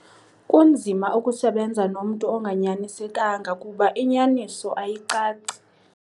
Kunzima ukusebenza nomntu onganyanisekanga kuba inyaniso ayicaci.